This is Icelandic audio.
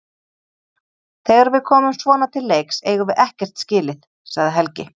Þegar við komum svona til leiks eigum við ekkert skilið, sagði Helgi.